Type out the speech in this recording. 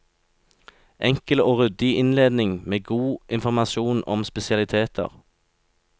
Enkel og ryddig innledning med god informasjon om spesialiteter.